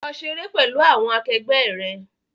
Lọ ṣeré pẹ̀lú àwọn akẹgbẹ́ rẹ!